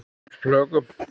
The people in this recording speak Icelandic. Af plöggum